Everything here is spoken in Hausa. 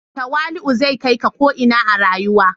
Tawali'u zai kai ka ko ina a rayuwa.